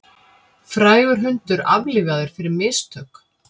Frægur hundur aflífaður fyrir mistök